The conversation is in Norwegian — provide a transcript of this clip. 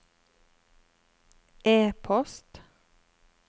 e-post